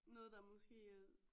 Noget der måske er